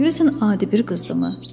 Görəsən adi bir qızdımı?